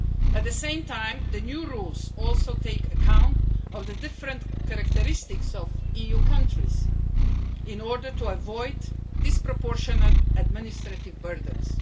At the same time, the new rules also take account of the different characteristics of EU countries in order to avoid disproportionate administrative burdens.